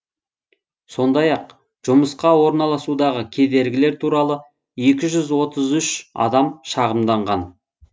сондай ақ жұмысқа орналасудағы кедергілер туралы екі жүз отыз үш адам шағымданған